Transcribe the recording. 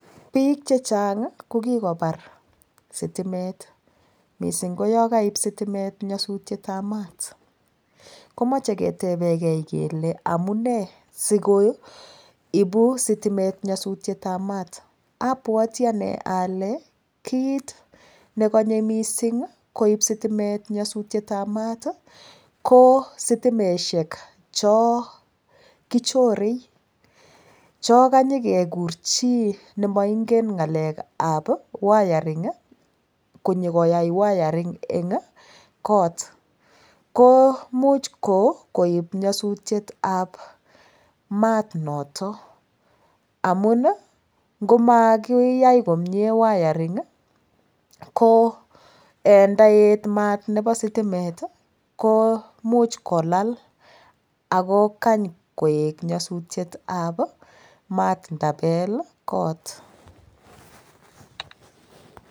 Piik che chang ii ko kikobar sitimet mising ko yo koip sitimet nyasutietab maat, komoche ketebekei kele amune sikoibu sitimet nyasutietab maat, abwati ane ale, kiit ne kanye mising koib sitimet nyasutietab maat ii, ko sitimesiek cho kichore, cho kanye kekur chii ne moingen ngalekab wiring ii, konyekoa wiring eng got, ko much koib nyasutietab maat noto amun ii, ngo makiyai komie wiring ii, ko ndaet mat nebo sitimet ii, ko much kolal ako kany koek nyasutietab maat ndabel got.